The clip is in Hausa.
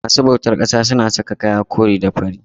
masu bautar ƙasa suna saka kaya kore da fari.